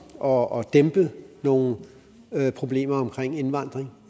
og og dæmpe nogle problemer omkring indvandring